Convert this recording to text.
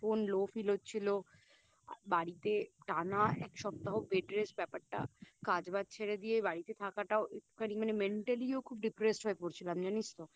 ভীষণ Low feel হচ্ছিলো আর বাড়িতে টানা এক সপ্তাহ Bed rest ব্যাপারটা কাজ ওয়াজ ছেড়ে দিয়ে বাড়িতে থাকাটাও একটুখানি মানে Mentally ও খুব Depressed হয়ে পড়ছিলাম জানিস তো